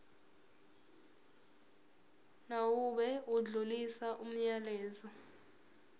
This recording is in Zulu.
mawube odlulisa umyalezo